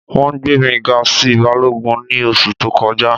Wọn gbẹ̀ mi gà sí bálọ́gùn ni oṣù tó kọja.